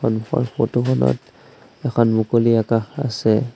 সন্মুখৰ ফটোখনত এখন মুকলি আকাশ আছে।